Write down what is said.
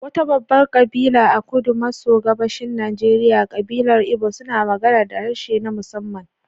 Wata babbar kabila a kudu maso gabashin Najeriya, kabilar Igbo suna magana da harshe na musamman.